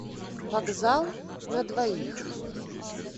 вокзал на двоих